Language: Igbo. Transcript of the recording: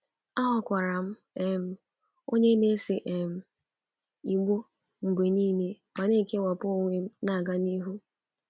Aghọkwara m um onye na-ese um igbó mgbe nile ma na-ekewapụ onwe m na-aga n'ihu.